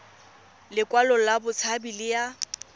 lekwalo la botshabi le ya